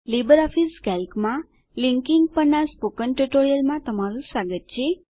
LibreOffice કેલ્કમાં linking in Calc કેલ્કમાં જોડાણ પરનાં સ્પોકન ટ્યુટોરીયલમાં તમારું સ્વાગત છે